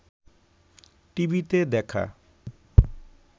টিভিতে দেখা